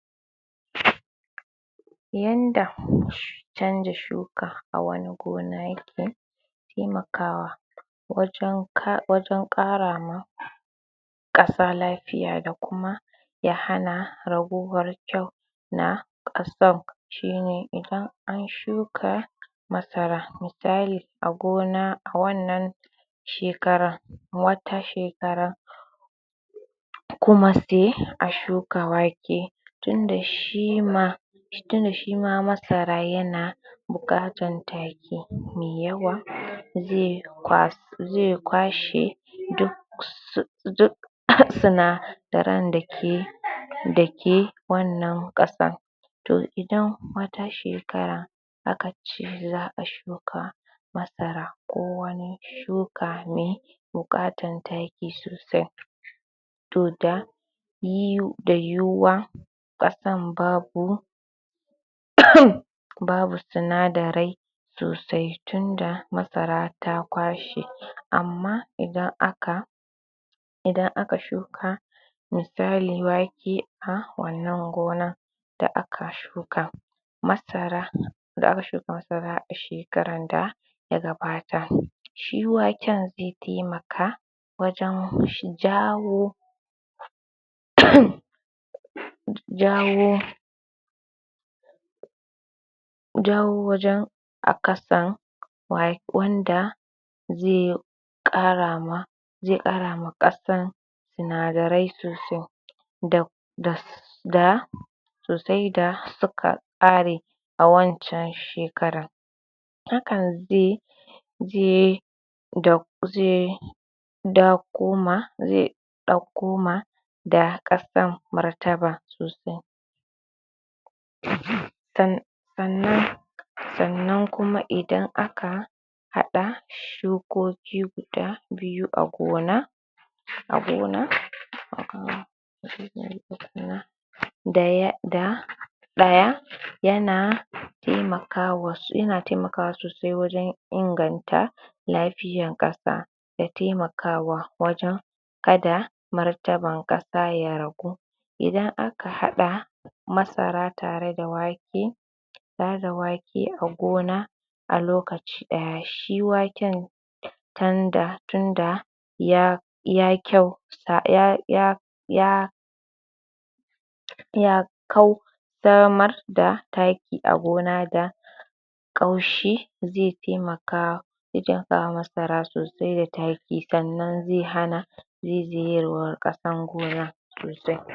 Yanda canja shuka a wani gona yake taimakawa wajen ƙara ma ƙasa lafiya da kuma ya hana ragowar kyau na ƙasan, shi ne idan an shuka masara misali a gona a wannan shekara, wata shekara kuma se a shuka wake tun da shi ma tun da shi ma masara yana buƙatan taki me yawa ze kwas ze kwashe duk sunadaran da ke, da ke wannan ƙasan to idan wata shekara aka ce za'a shuka masara ko wani shuka me buƙatan taki sosai to da yiwuwa ƙasan babu babu sinadarai sosai tun da masara ta kwashe, amma idan aka idan aka shuka misali wake a wannan gonan da aka shuka masara, da aka shuka masara a shekaran da ya gabata, shi waken ze taimaka wajen jawo jawo jawo wajen a ƙasan wanda ze ƙara ma, ze ƙara ma ƙasan sinadarai sosai da sosai da suka ƙare a wancan shekaran, hakan ze, ze ze dako ma, ze ɗauko ma da ƙasan martaba sosai sannan, sannan kuma idan aka haɗa shukoki guda biyu a gona a gona da ɗaya yana taimaka, yana taimakawa sosai wajen inganta lafiyan ƙasa da taimakawa wajen kada martaban ƙasa ya ragu, idan aka haɗa masara tare da wake tare da wake a gona a lokaci ɗaya shi waken tan da, tun da ya ya kyau, ya ya ya kau damar da taki a gona da ƙaushi ze taimaka ze taimaka ma masara sosai da taki sannan ze hana ze je ya wa ƙasan gona sosai.